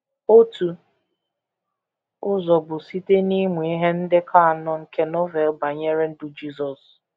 Otu ụzọ bụ site n’ịmụ ihe ndekọ anọ nke Novel banyere ndụ Jisọs.